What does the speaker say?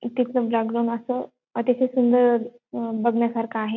इथे खूप जागरण असं अतिशय सुंदर अहं बघण्यासारखा आहे.